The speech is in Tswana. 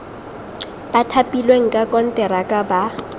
ba thapilweng ka konteraka ba